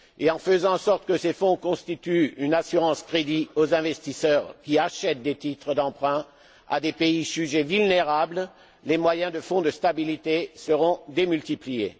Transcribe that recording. En faisant en sorte que ce fonds constitue une assurance crédit aux investisseurs qui achètent des titres d'emprunt à des pays jugés vulnérables, les moyens du Fonds de stabilité seront démultipliés.